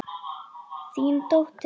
Þín dóttir, Unnur.